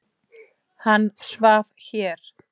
Hann svaf hér.